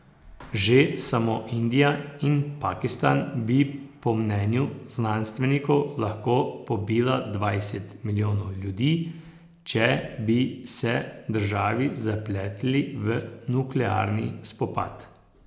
Že samo Indija in Pakistan bi po mnenju znanstvenikov lahko pobila dvajset milijonov ljudi, če bi se državi zapletli v nuklearni spopad.